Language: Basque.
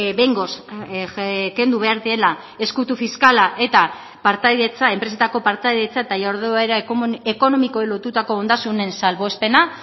behingoz kendu behar dela ezkutu fiskala eta partaidetza enpresetako partaidetza eta jarduera ekonomikoei lotutako ondasunen salbuespena